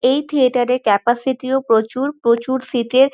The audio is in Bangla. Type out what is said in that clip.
এই থিয়েটার -এ ক্যাপাসিটি ও প্রচুর। প্রচুর সিট -এর--